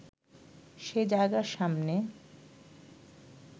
সে জায়গার সামনে